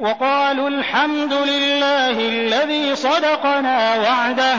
وَقَالُوا الْحَمْدُ لِلَّهِ الَّذِي صَدَقَنَا وَعْدَهُ